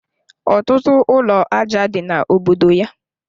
Ọtụtụ ụlọ aja dị na obodo ya